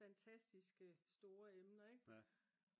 fantastiske store emner ik